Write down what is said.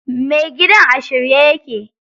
Mai gidan a shirye yake.